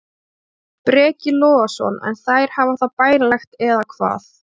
Breki Logason: En þær hafa það bærilegt eða hvað?